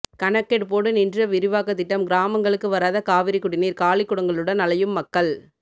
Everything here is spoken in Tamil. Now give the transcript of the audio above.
கணக்கெடுப்போடு நின்ற விரிவாக்க திட்டம் கிராமங்களுக்கு வராத காவிரி குடிநீர் காலிக்குடங்களுடன் அலையும் மக்கள்